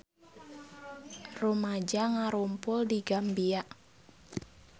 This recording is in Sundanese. Rumaja ngarumpul di Gambia